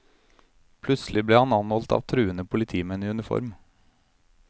Plutselig ble han anholdt av truende politimenn i uniform.